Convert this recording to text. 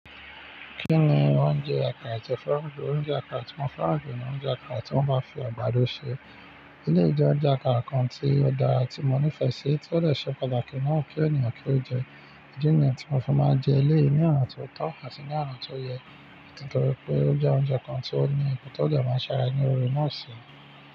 Kí ni oúnjẹ àkàrà tí o fẹ́ràn jù, oúnjẹ àkàrà tí mo fẹ́ràn jù ní oúnjẹ àkàrà tí wọ́n bá fi àgbàdo ṣe. Eleyii je ounjẹ́ àkàrà kan tí ó dára tí mo nífẹ̀ẹ́ sí, tí ó de ṣe pàtàkì naa ki ènìyàn kí ó jẹ. Ìdí niyen tí mo fi máa ń jẹ eléyìí ní ona ti ó tọ́ àti ní ona ti o yẹ, nítorí pé ó jẹ́ oúnjẹ kan tí ó ní ipò tí ó de máa ń ṣàrà ní ore ná si.